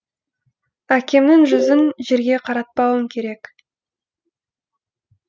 әкемнің жүзін жерге қаратпауым керек